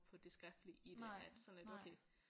På det skriftlige i det at sådan lidt okay